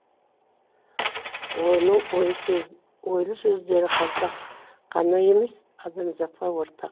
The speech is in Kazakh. оның ойлы сөздері қазақ ғана емес адамзатқа ортақ